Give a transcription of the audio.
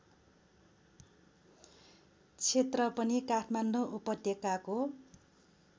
क्षेत्रपनि काठमाडौँ उपत्यकाको